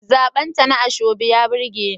Zabarta na asoebi ya burge ni.